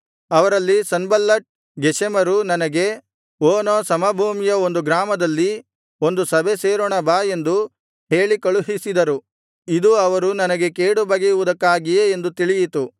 ಅವರಲ್ಲಿ ಸನ್ಬಲ್ಲಟ್ ಗೆಷೆಮರು ನನಗೆ ಓನೋ ಸಮಭೂಮಿಯ ಒಂದು ಗ್ರಾಮದಲ್ಲಿ ಒಂದು ಸಭೆ ಸೇರೋಣ ಬಾ ಎಂದು ಹೇಳಿ ಕಳುಹಿಸಿದರು ಇದು ಅವರು ನನಗೆ ಕೇಡು ಬಗೆಯುವುದಕ್ಕಾಗಿಯೇ ಎಂದು ತಿಳಿಯಿತು